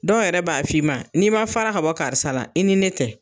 Dɔw yɛrɛ b'a f'i ma n'i ma fara ka bɔ karisa la, i ni ne tɛ.